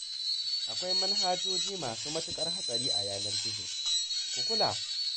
Akwai manhajoji masu matuƙar hatsari a yanar gizo, ku kula!